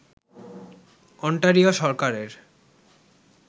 Ontario সরকারের